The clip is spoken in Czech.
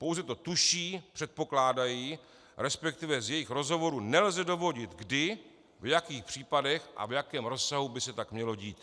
Pouze to tuší, předpokládají, respektive z jejich rozhovorů nelze dovodit kdy, v jakých případech a v jakém rozsahu by se tak mělo dít.